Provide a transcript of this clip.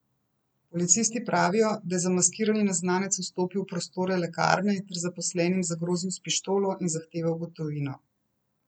Policisti pravijo, da je zamaskirani neznanec vstopil v prostore lekarne ter zaposlenim zagrozil s pištolo in zahteval gotovino.